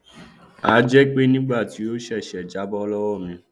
a jẹ pé nígbà tí ó ṣèṣì jábọ lọwọ mi